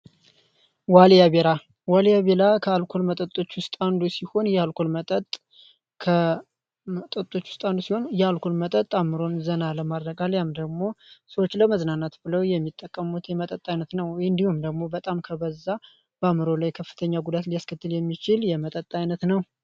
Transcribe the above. ዋልያ ቤራ ዋሊያ ቤላ ከአልኮልነው። ጠጦመጠጦች ውስጣ አንዱ ሲሆን እየአልኮል መጠጥ አምሮን ዘና ለማድረጋ ሊያም ደግሞ ሰዎች ለመዝናናት ብለው የሚጠቀሙት የመጠጣ ዓይነት ነው እንዲሁም ደግሞ በጣም ከበዛ በምሮ ላይ ክፍተኛ ጉዳት ሊያስክትል የሚችል የመጠጣ አይነት ነው